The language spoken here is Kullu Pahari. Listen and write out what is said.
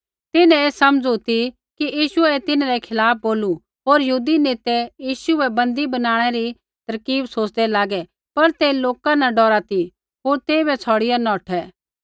तिन्हैं ऐ समझ़ू ती कि यीशुऐ ऐ तिन्हरै खिलाफ़ बोलू होर यहूदी नेतै यीशु बै बन्दी बनाणै री तरकीब सोच़दै लागै पर ते लोका न डौरा ती होर तेइबै छ़ौड़िआ नौठै